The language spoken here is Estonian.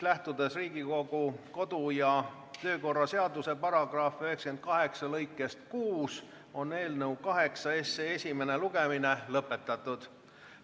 Lähtudes Riigikogu kodu- ja töökorra seaduse § 98 lõikest 6, on eelnõu 8 esimene lugemine lõpetatud.